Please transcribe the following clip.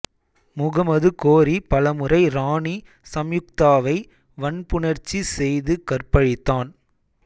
முகமது கோரி பலமுறை ராணி சம்யுக்தாவை வன்புணர்ச்சி செய்து கற்பழித்தான்